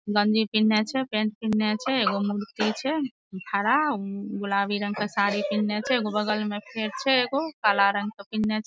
गंजी पिन्हने छै पेंट पिन्हने छै एगो मूर्ति छै ठड़ा उ गुलाबी रंग के साड़ी पिन्हने छै एगो बगल मे फेर छै एगो काला रंग पिन्हने छै ।